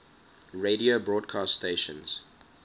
radio broadcast stations